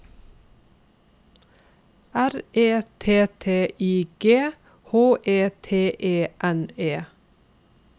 R E T T I G H E T E N E